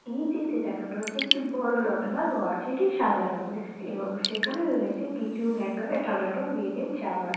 এই চিত্রে দেখানো হচ্ছে একটি বড়ো লম্বা ঘর এটি সাদা রঙের এবং সেখানে রয়েছে কিছু হ্যাঙ্গারে টাঙানো মেয়েদের জামা।